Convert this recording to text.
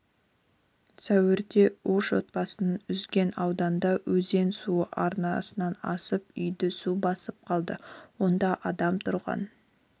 сәуірде ош облысының узген ауданында өзен суы арнасынан асып үйді су басып қалды онда адам тұрған